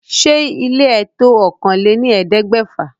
Ṣé ile ẹ to òkàn lẹ́ ní ẹ̀ẹ́dẹ́gbèfà?